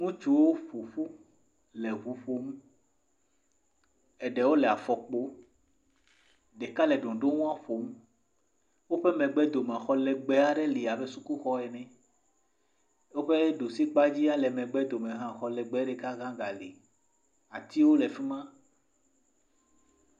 Ŋutsuwo ƒo ƒu le ŋu ƒom. Ɖeka le afɔkpo. Ɖeka hã le ɖoŋɖoŋua ƒom. Woƒe megbe domea, xɔ lɛgbɛɛ aɖe le abe sukuxɔ ene. Woƒe ɖusi kpa dzia le megbedome hã, xɔ legbeɛ ɖeka hã ga le. Atiwo le fi ma.